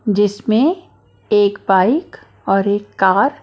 जिसमें एक बाइक और एक कार --